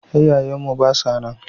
Iyaye mu ba sa nan.